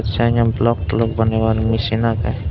senni block tolock banebar mesin agey.